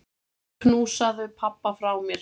Knúsaðu pabba frá mér.